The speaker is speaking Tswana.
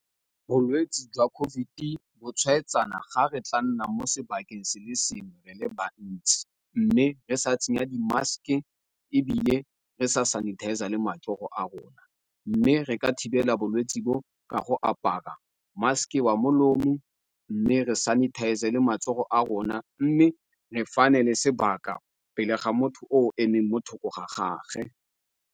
Bolwetsi jwa COVID bo tshwaetsana, ga re tla nna mo sebakeng se le sengwe re le bantsi, mme re sa tsenya di mask-e, ebile re sa sanitizer-a le matsogo a rona, mme re ka thibela bolwetse bo ka go apara mask-e wa molomo, mme re sanitizer-a le matsogo a rona, mme re fane le sebaka pele ga motho o emeng mo thoko ga gage.